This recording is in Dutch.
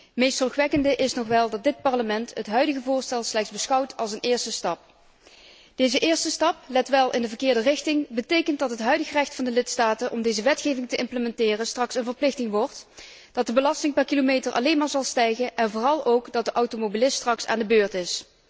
Het meest zorgwekkende is nog wel dat dit Parlement het huidige voorstel slechts beschouwt als een eerste stap. Deze eerste stap, let wel, in de verkeerde richting, betekent dat het huidig recht van de lidstaten om deze wetgeving te implementeren straks een verplichting wordt, dat de belasting per kilometer alleen maar zal stijgen en vooral ook dat de automobilist straks aan de beurt is.